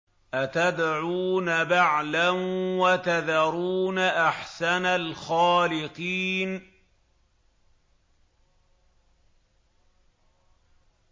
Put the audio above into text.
أَتَدْعُونَ بَعْلًا وَتَذَرُونَ أَحْسَنَ الْخَالِقِينَ